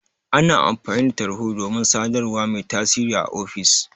Ana amfani da Tarho domin sadarwa mai tasiri a ofis.